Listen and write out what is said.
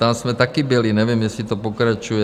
Tam jsme taky byli, nevím, jestli to pokračuje.